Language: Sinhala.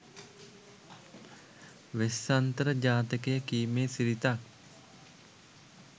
වෙස්සන්තර ජාතකය කීමේ සිරිතක්